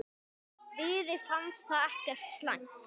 Víði fannst það ekkert slæmt.